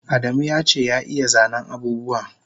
Adamu yace ya iya zanen abubuwa